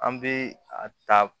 An bɛ a ta